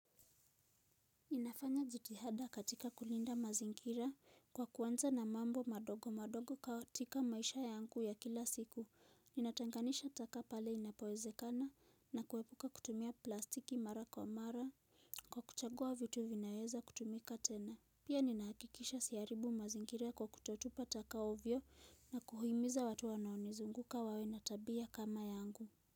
Inafanya jitihada katika kulinda mazingira kwa kuanza na mambo madogo madogo katika maisha yangu ya kila siku. Ninatenganisha taka pale inapowezekana na kuepuka kutumia plastiki mara kwa mara kwa kuchagua vitu vinaweza kutumika tena. Pia ninahakikisha siharibu mazingira kwa kutotupa taka ovyo na kuhimiza watu wanaonizunguka wawe na tabia kama yangu.